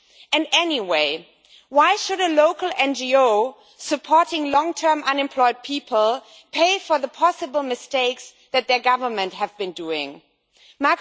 And anyway, why should a local NGO supporting long term unemployed people pay for the possible mistakes that their government have been making.